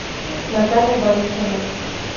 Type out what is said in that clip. наталья борисовна